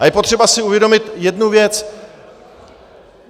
A je potřeba si uvědomit jednu věc.